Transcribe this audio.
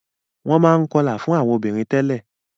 Wọ́n máa ń kọlà fún àwọn obìnrin tẹ́lẹ̀.